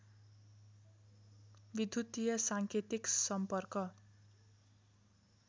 विद्युतीय साङ्केतिक सम्पर्क